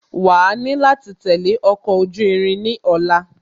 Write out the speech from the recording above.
Wàá ni láti tẹ̀lé ọkọ̀ ojú irin ní ọ̀la